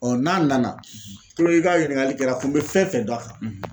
n'a nana kulo i k'a ɲininkali kɛ l'a tun be fɛn fɛn dɔn a kan